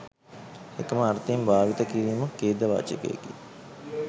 එකම අර්ථයෙන් භාවිත කිරීම ඛේදවාචකයකි